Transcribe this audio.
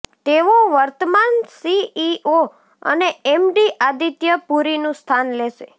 તેઓ વર્તમાન સીઈઓ અને એમડી આદિત્ય પુરીનું સ્થાન લેશે